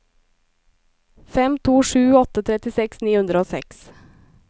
fem to sju åtte trettiseks ni hundre og seks